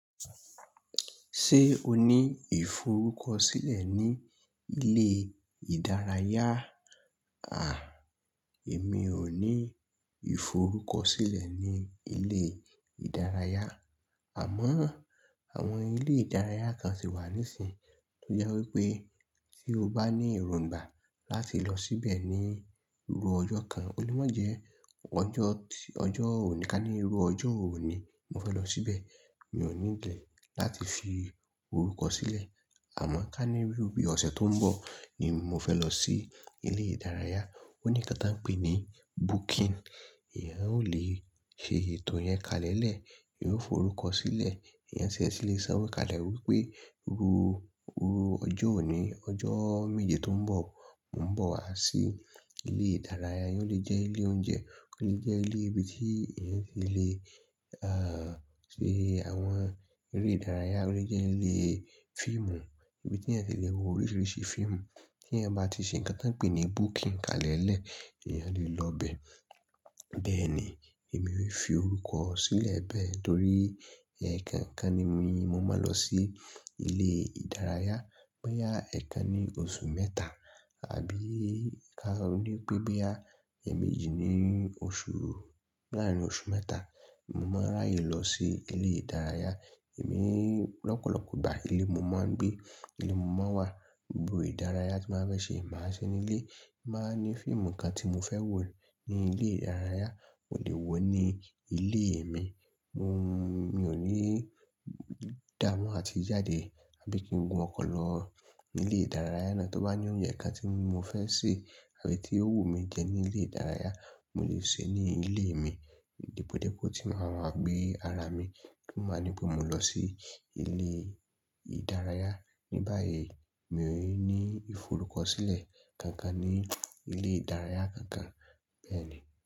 Ṣé o ní ìforúkọ sílẹ̀ ní ilé ìdárayá? À, èmi ò ní ìforúkọ sílẹ̀ ní ilé ìdárayá. Àmọ́, àwọn ilé ìdárayá kan ti wà nísìíń, tó jẹ́ wípé tí o bá ní èròǹgbà láti lọ síbẹ̀ ní ru ọjọ́ kan, olemọ̀ jẹ ọjọ́ ọjọ́ òní, ká ní rú ọjọ́ òní mo fẹ́ lọ síbẹ̀. Mi ò need e láti fi orúkọ sílẹ̀. Àmọ́ ká ní rú bí ọ̀sẹ̀ tó ń bọ̀ ni mo fẹ́ lọ sí ilé ìdárayá. Ó ní nǹkan tí wọ́n ń pè ní booking. Eeyan ó lè ṣe ètò yẹn kalẹ̀lẹ̀, eeyan ó forúkọ sílẹ̀, eeyan ti e ti lè sanwo kale wípe rú, rú ọjọ́ òní, ọjọ́ méje tó ń bọ̀, mò ń bọ̀ wá sí ilé ìdárayá. O lè jẹ́ ilé oúnjẹ, ó lè jẹ́ ilé ibi tí ìyẹn ti lè, ah, ṣe àwọn eré ìdárayá, ó lè jẹ́ ilé fíìmù, ibi tí ẹ ti lè wo oríṣiríṣi fíìmù. Tí ẹ̀eyan bá ti ṣe nǹkan tí wọ́n ń pè ní booking kalẹ̀ lẹ̀, eeyan lè lọ bẹ̀. Bẹ́ẹ̀ ni èmi ó fi forúkọ sílẹ̀ bẹ́ẹ̀ torí ẹ̀kankan ni mí, mo máa lọ sí ilé ìdárayá. Boya ẹ̀ẹ̀kan ní oṣù mẹ́ta, àbí ká ní pé boyaa ẹ̀ẹ̀méjì ní oṣù láàárín oṣù mẹ́ta, mo máa n ráyè lọ sí ilé ìdárayá. Èmi lọ́pọ̀lọ́pọ̀ ìgbà ilé mo máa ń gbé, ilé mo máa ń wà. Gbo ìdárayá tí màá bá fẹ́ ṣe, màá ṣe ní ilé. Ti n ba ní fíìmù kan tí mo fẹ́ wò ní ilé ìdárayá, mo lè wò ní ilé mi. Mo, mi ò ní dámọ́ àti jàdé, àbí kí n gun ọkọ̀ lọ ní ilé ìdárayá náà. Tí ó bá ní oúnjẹ kan tí mo fẹ́ sè àbí tí ó wù mí jẹ ní ilé ìdárayá, mò lè sè ẹ ní ilé mi. Depòdepo tí màá wa gbé ara mi, tí maa nipe mò lọ sí ilé ìdárayá. Ní báyìí, mi ò ní ìforúkọ sílẹ̀ kankan ní ilé ìdárayá kankan. Bẹ́ẹ̀ ni.